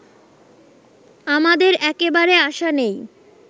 আমাদের একেবারে আশা নেই